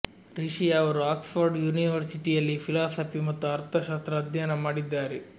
ರಿಷಿ ಅವರು Oxford ಯೂನಿವರ್ಸಿಟಿಯಲ್ಲಿ philosophy ಮತ್ತು ಅರ್ಥಶಾಸ್ತ್ರ ಅಧ್ಯಯನ ಮಾಡಿದ್ದಾರೆ